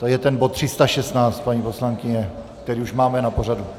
To je ten bod 316, paní poslankyně, který už máme na pořadu?